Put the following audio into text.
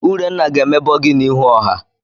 Urenna ga-emebọ gị n'ihu ọha.